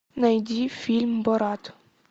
найди фильм брат